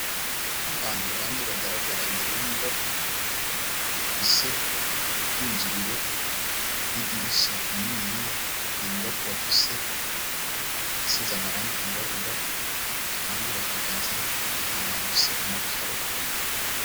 Abantu bane bagaragara imbere y'inyubako, ifise ubwinjiriro n'idirisha ininyiya, iyo nyubako irafise ahasize amarang’iyirabura, kandi bahagaze ahantu hafise amakaro.